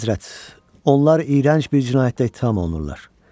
Əlahəzrət, onlar iyrənc bir cinayətdə ittiham olunurlar.